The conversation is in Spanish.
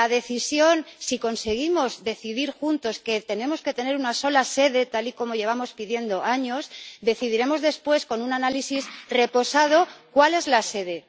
Si conseguimos decidir juntos que tenemos que tener una sola sede, tal y como llevamos pidiendo años, decidiremos después, con un análisis reposado, cuál es la sede.